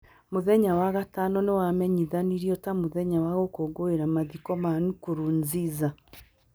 Mũthenya wa Gatano nĩ wamenyithanirio ta mũthenya wa gũkũngũĩra mathiko ma Nkurunziza.